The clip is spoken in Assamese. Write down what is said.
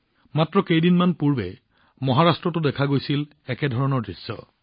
মাত্ৰ কেইদিনমান পূৰ্বে মহাৰাষ্ট্ৰতো দেখা গৈছিল একেধৰণৰ দৃশ্য